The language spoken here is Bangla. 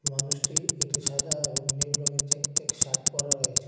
মানুষটি একটি সাদা এবং নীল রঙের চেক চেক শার্ট পরা রয়েছে।